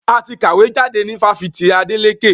A ti kàwé jáde ní Fáṣítì Adeleke